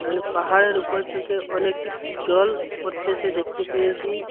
অনেক পাহাড়ের উপরে থেকে অনেকটি জল পড়তেসে দেখতে পেয়েসি।